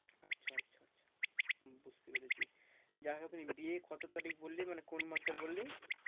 আচ্ছা আচ্ছা আচ্ছা বুঝতে পেরেছি। যাই হোক বিয়ে কত তারিখ বললি মানে কোন মাসের বললি?